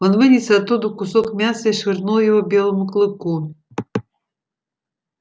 он вынес оттуда кусок мяса и швырнул его белому клыку